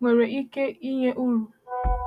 nwere ike inye uru.